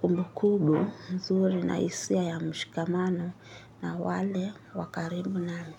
kumbu kubu nzuri na hisia ya mshikamano na wale wa karibu nami.